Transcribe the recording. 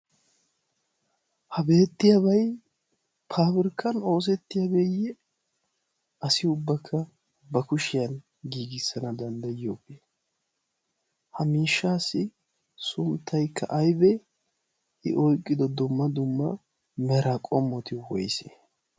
ha beettiyaabay pabirkkan oosettiyaabeeyye asi ubakka ba kushiyan giigissana danddayiyoobe ha miishshaassi sunttaykka aybee i oyqqido domma dumma mara qommoti woyse?